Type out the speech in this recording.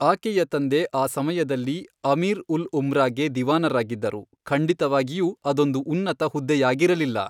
ಆಕೆಯ ತಂದೆ ಆ ಸಮಯದಲ್ಲಿ ಅಮೀರ್ ಉಲ್ ಉಮ್ರಾಗೆ ದಿವಾನರಾಗಿದ್ದರು, ಖಂಡಿತವಾಗಿಯೂ ಅದೊಂದು ಉನ್ನತ ಹುದ್ದೆಯಾಗಿರಲಿಲ್ಲ.